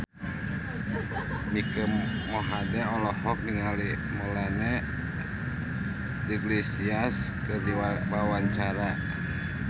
Mike Mohede olohok ningali Melanie Iglesias keur diwawancara